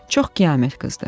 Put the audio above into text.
Çox qiyamət qızdı.